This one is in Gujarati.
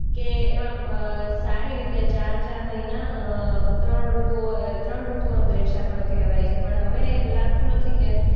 કે એમાં અ સારી રીતે ચાર-ચાર મહીના અ ત્રણ ઋતુઓ અ ત્રણ ઋતુઓનો દેશ આપણો કહેવાય છે પણ હવે એ લાગતું નથી કે